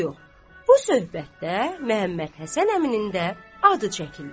Söz yox, bu söhbətdə Məhəmməd Həsən əminin də adı çəkildi.